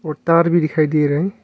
और तार भी दिखाई दे रहे हैं।